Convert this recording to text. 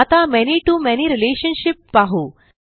आता many to many relationship पाहू